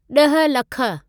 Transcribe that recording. ॾह लख